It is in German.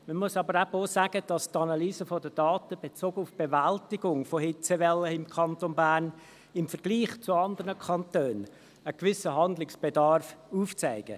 Man muss aber auch sagen, dass die Analyse der Daten – bezogen auf die Bewältigung von Hitzewellen im Kanton Bern im Vergleich zu anderen Kantonen – einen gewissen Handlungsbedarf aufzeigen.